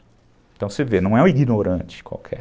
Então você vê, não é um ignorante qualquer.